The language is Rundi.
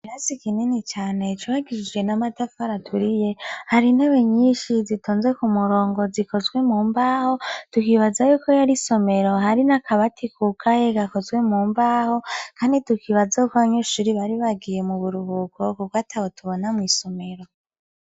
Ikirasi kinini cane cubakishijwe n'amatafari aturiye hari intebe nyishi zitonze ku murongo zikozwe mu mbaho tukibaza yuko yari isomero hari n'akabati kugaye gakozwe mu mbaho kandi tukibaza yuko abanyeshuri bari bagiye mu buruhuko kuko atabo tubona mw'isomero.